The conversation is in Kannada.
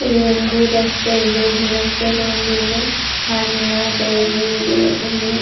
ಇಲ್ಲಿ ಒಂದು ರಸ್ತೆ ಇದೆ ಇಲ್ಲಿ ರಸ್ತೆಯಲ್ಲಿ ಒಂದು ಇಲ್ಲಿ ಹಾಲಿನ ಡೈರಿ ಇದೆ ಇಲ್ಲಿ.